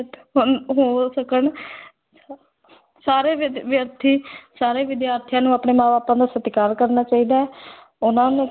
ਹੋ ਸਕਣ ਸਾਰੇ ਵਿਦ ਵਿਦਿਆਰਥੀ ਸਾਰੇ ਵਿਦਿਆਰਥੀਆਂ ਨੂੰ ਅਪਾਣੇ ਮਾਂ ਬਾਪਾਂ ਦਾ ਸਤਿਕਾਰ ਕਰਨਾ ਚਾਹੀਦਾ ਹੈ ਉਹਨਾ ਨੂੰ